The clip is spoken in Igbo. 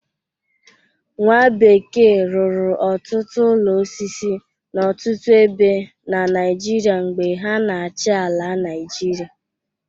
Nwa bekee rụrụ ọtụtụ ụlọ osisi n'ọtụtụ ebe na Naijiria mgbe ha na-achị ala Naijiria.